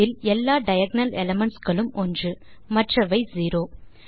அதில் எல்லா diagonal elements களும் ஒன்று மற்றவை செரோ